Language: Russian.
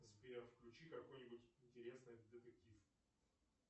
сбер включи какой нибудь интересный детектив